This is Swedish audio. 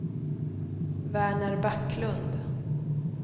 Verner Backlund